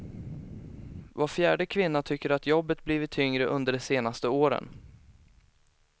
Var fjärde kvinna tycker att jobbet blivit tyngre under de senaste åren.